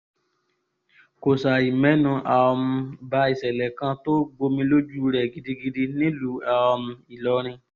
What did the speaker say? kò ṣàì mẹ́nu um ba ìsẹ̀lẹ̀ kan tó gbomi lójú rẹ̀ gidigidi nílùú um ìlọrin